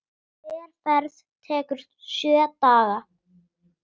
Hver ferð tekur sjö daga.